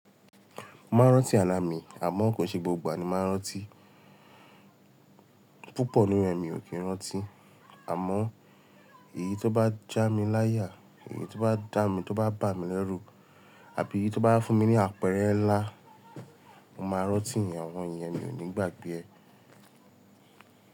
Mo máa ń rántí àlà mí àmọ́ kò ṣe gbogbo àní mo máa ń rántí, púpọ̀ nínú e mi ò kí ń rántí. Àmọ́ èyí tó bá já mi láyà, èyí tó bá dá mi, tó bá bà mí lẹ́rù àbí tó bá fún mi ní àpẹẹrẹ ńlá, mo máa rántí ìyen àwọn iyẹn mi ò ní gbàgbé ẹ.